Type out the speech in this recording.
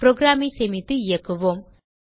program ஐ சேமித்து இயக்குவோம்